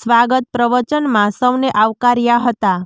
સ્વાગત પ્રવચનમાં સૌને આવકાર્યા હતા